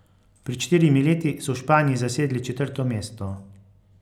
Pred štirimi leti so v Španiji zasedli četrto mesto.